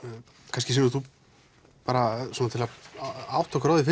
kannski Sigrún til að átta okkur á því